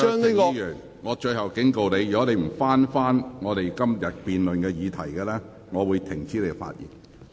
林卓廷議員，我最後警告你，如果你不針對今天辯論的議題發言，我會指示你停止發言。